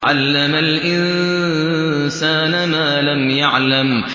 عَلَّمَ الْإِنسَانَ مَا لَمْ يَعْلَمْ